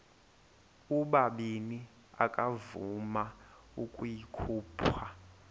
ubabini akavuma ukuyikhupha